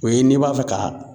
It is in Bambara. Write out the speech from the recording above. O ye n'i b'a fɛ ka